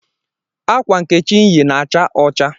akwa nkechi yi na acha ọcha